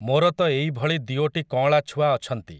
ମୋର ତ ଏଇଭଳି ଦିଓଟି କଅଁଳା ଛୁଆ ଅଛନ୍ତି ।